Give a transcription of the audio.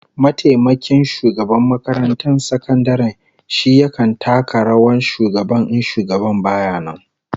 Mataimakin shugaban makarantar sakandaren shi yakan taka rawar shugaban in shugaban baya nan